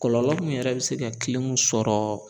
Kɔlɔlɔ min yɛrɛ bɛ se ka kilimu sɔrɔ